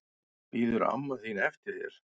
Bíður amma þín eftir þér?